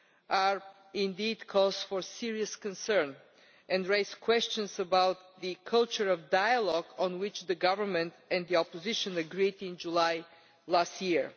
are indeed cause for serious concern and raise questions about the culture of dialogue on which the government and the opposition agreed in July last year.